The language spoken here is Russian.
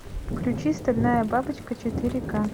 включи стальная бабочка четыре ка